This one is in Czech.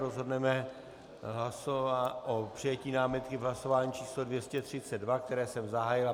Rozhodneme o přijetí námitky v hlasování číslo 232, které jsem zahájil.